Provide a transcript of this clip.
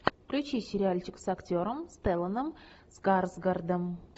включи сериальчик с актером стелланом скарсгардом